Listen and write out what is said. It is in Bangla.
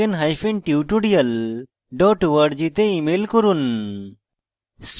contact @spokentutorial org তে ইমেল করুন